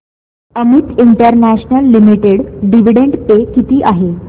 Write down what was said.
Amit International Limited dividend pay किती आहे